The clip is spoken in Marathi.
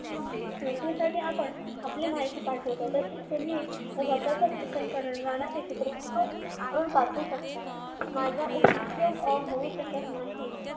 नोकरीसाठी आपण आपली माहिती पाठवतो, तशी माहिती तुम्ही स्वतःच कथन करतानाचे चित्रीकरण करून पाठवू शकता. माझा उपयोग होऊ शकत नाही